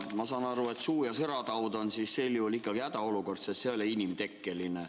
Ma saan aru, et suu‑ ja sõrataud on sel juhul ikkagi hädaolukord, sest see ei ole inimtekkeline.